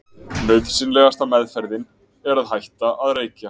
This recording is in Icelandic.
Nauðsynlegasta meðferðin er að hætta að reykja.